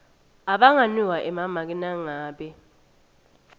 abanganikwa emamaki nangabe